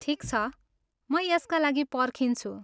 ठिक छ, म यसका लागि पर्खिन्छु।